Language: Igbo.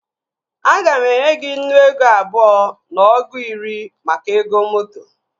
Aga m enye gị nnu ego abụọ na ọgụ iri maka ego moto